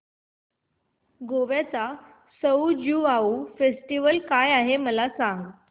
गोव्याचा सउ ज्युआउ फेस्टिवल काय आहे मला सांग